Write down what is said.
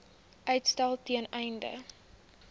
uitstel ten einde